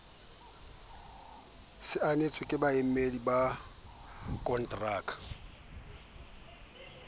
saenetswe ke baamehi ba konterakeng